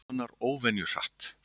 Ísinn bráðnar óvenju hratt